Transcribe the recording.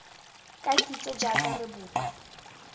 ka kitso jaaka re bopa